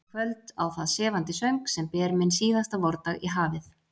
Í kvöld á það sefandi söng, sem ber minn síðasta vordag í hafið.